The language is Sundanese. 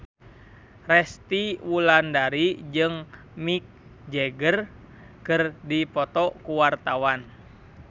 Resty Wulandari jeung Mick Jagger keur dipoto ku wartawan